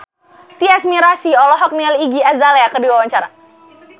Tyas Mirasih olohok ningali Iggy Azalea keur diwawancara